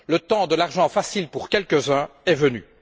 Le temps de l'argent facile pour quelques uns est venu.